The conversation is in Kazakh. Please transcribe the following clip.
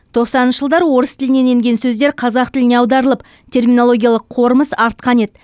тоқсаныншы жылдары орыс тілінен енген сөздер қазақ тіліне аударылып терминологиялық қорымыз артқан еді